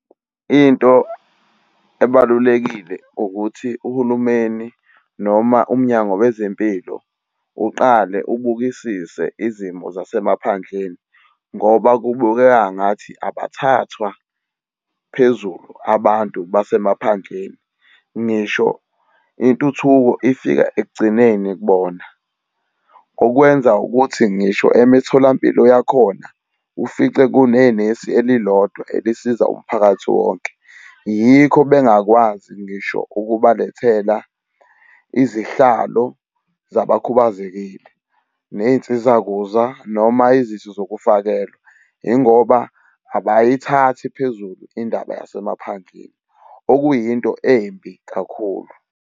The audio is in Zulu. Into ebalulekile ukuthi uhulumeni noma umnyango wezempilo uqale ubukisise izimo zasemaphandleni ngoba kubukeka ngathi abathathwa phezulu abantu basemaphandleni. Ngisho intuthuko ifika ekugcineni kubona, okwenza ukuthi ngisho emitholampilo yakhona ufice kune nesi elilodwa elisiza umphakathi wonke. Yikho bengakwazi ngisho ukubalethela izihlalo zabakhubazekile ney'nsiza kuza noma izifo zokufakelwa yingoba abayithathi phezulu indaba yasemaphandleni, okuyinto embi kakhulu.